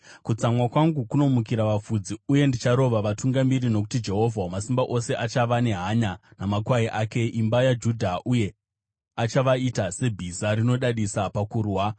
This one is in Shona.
“Kutsamwa kwangu kunomukira vafudzi, uye ndicharova vatungamiri, nokuti Jehovha Wamasimba Ose achava nehanya namakwai ake, imba yaJudha, uye achavaita sebhiza rinodadisa pakurwa.